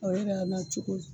Ɔ bɛ n'a la cogo di?